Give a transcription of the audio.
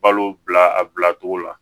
Balo bila a bilacogo la